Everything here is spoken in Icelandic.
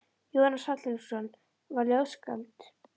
Jónas Hallgrímsson var ljóðskáld.